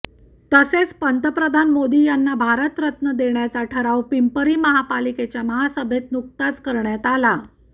तसेच पंतप्रधान मोदी यांना भारतरत्न देण्याचा ठराव पिंपरी महापालिकेच्या महासभेत नुकताच करण्यात आला